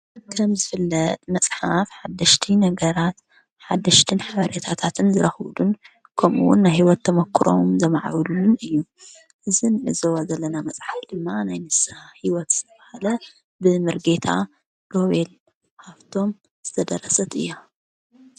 ከምዝፍለጥ መጽሓፍ ሓድሽቲ ነገራትን ሓድሽትን ሓበረታታትን ዝረኽብሉን ከምኡውን ናይ ሕይወት ተሞክሮም ዘማዕውሉሉን እዩ። እዚ ንዕዘዋ ዘለና መጽሓፍ ድማ ናይ ንስ ሕይወት ዝብሃለ ብምርጌታ ሮቤል ሃፍቶም ዘተደረሰት እያ።